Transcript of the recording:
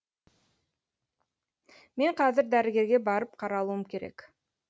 мен қазір дәрігерге барып қаралуым керек